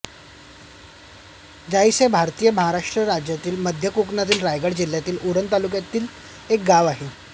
जासई हे भारतातील महाराष्ट्र राज्यातील मध्य कोकणातील रायगड जिल्ह्यातील उरण तालुक्यातील एक गाव आहे